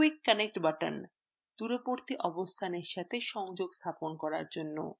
quick connect buttonদূরবর্তী অবস্থানের সাথে সংযোগ স্থাপন করার জন্য